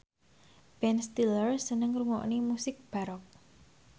Ben Stiller seneng ngrungokne musik baroque